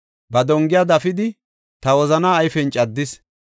Ba dongiya dafidi, ta wozana ayfen caddis.